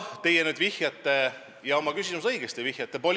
Teie vihjasite oma küsimuses – ja õigesti vihjasite!